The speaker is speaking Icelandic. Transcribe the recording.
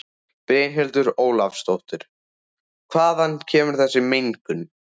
Brynhildur Ólafsdóttir: Hvaðan kemur þessi mengun?